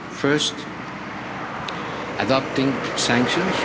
First, by adopting sanctions.